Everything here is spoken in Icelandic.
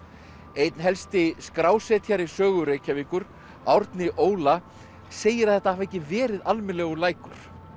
einn helsti skrásetjari sögu Reykjavíkur Árni Óla segir að þetta hafi ekki verið almennilegur lækur